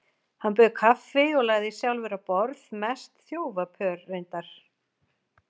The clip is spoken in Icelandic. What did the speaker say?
Hann bauð kaffi og lagði sjálfur á borð, mest þjófapör reyndar.